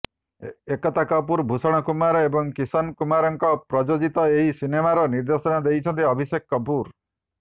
ଏକତା କପୁର ଭୂଷଣ କୁମାର ଏବଂ କିଶନ କୁମାରଙ୍କ ପ୍ରଯୋଜିତ ଏହି ସିନେମାର ନିର୍ଦ୍ଦେଶନା ଦେଉଛନ୍ତି ଅଭିଷେକ କପୁର